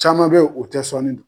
Caman bɛ ye o tɛ sɔnni dɔn.